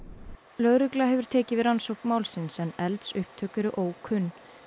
lögregla hefur tekið við rannsókn málsins en eldsupptök eru ókunn